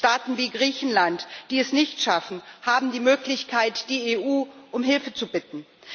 Staaten wie Griechenland, die es nicht schaffen, haben die Möglichkeit, die EU um Hilfe zu bitten.